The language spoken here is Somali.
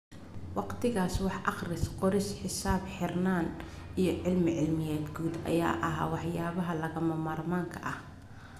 Waqtigaas, wax-akhris-qoris, xisaab-xirnaan iyo cilmi-cilmiyeed guud ayaa ahaa waxyaabaha lagama maarmaanka ah.